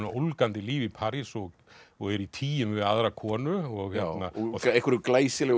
ólgandi lífi í París og og er í tygjum við aðra konu og einhverju glæsilegu